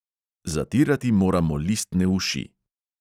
Zatirati moramo listne uši.